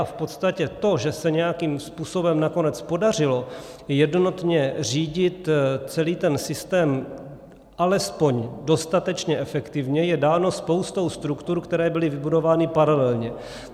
A v podstatě to, že se nějakým způsobem nakonec podařilo jednotně řídit celý ten systém alespoň dostatečně efektivně, je dáno spoustou struktur, které byly vybudovány paralelně.